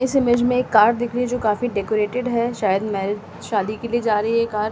इस इमेज में एक कार दिख रही है जो काफी डेकोरेटेड है शायद मैरिज शादी के लिए जा रही है ये कार --